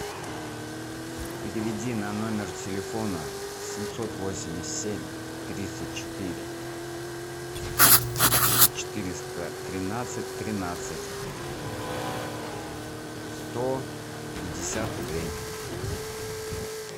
переведи на номер телефона семьсот восемьдесят семь тридцать четыре четыреста тринадцать тринадцать сто пятьдесят рублей